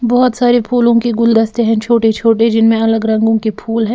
बहुत सारे फूलों के गुलदस्ते हैं छोटे-छोटे जिनमें अलग रंगों के फूल हैं।